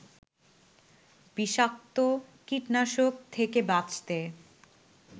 বিষাক্ত কীটনাশক থেকে বাঁচতে